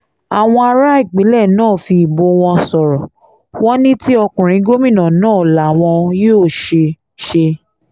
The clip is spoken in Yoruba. àwọn ará ìpínlẹ̀ náà fi ìbò wọn sọ̀rọ̀ wọn ní ti ọkùnrin gómìnà náà làwọn yóò ṣe ṣe